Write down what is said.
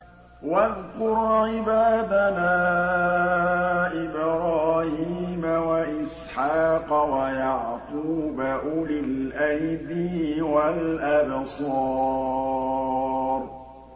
وَاذْكُرْ عِبَادَنَا إِبْرَاهِيمَ وَإِسْحَاقَ وَيَعْقُوبَ أُولِي الْأَيْدِي وَالْأَبْصَارِ